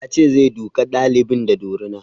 Ya ce zai duka ɗalibin da dorina